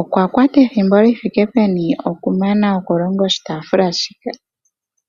Okwa kwata ethimbo li thike peni okumana okulonga oshitafula shika?